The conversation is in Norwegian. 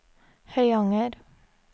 Høyanger